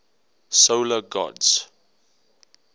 solar gods